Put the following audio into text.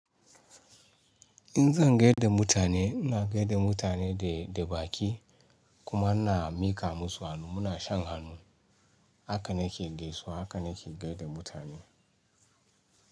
In zan gai da mutane, ina gai da mutane da, da baki kuma ina mika musu hannu, muna shan hannu. Haka na ke gaisuwa, haka na ke gaida mutane.